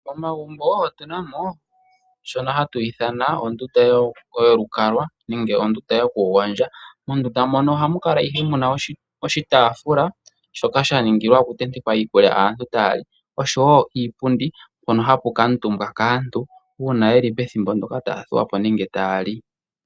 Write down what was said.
Momagumbo otuna oshono hatu ithanwa ondundu yolukalwa nenge ondunda yo okugondja mondunda moka oha muka ihe muna oshitafula shoka shaningilwa okutenteka iikulya uuna aantu tali oshowo iipundi hono haku kaantumbwa kaantu una yeli pethimbo ndoka taya dhuwapo nenge taya li.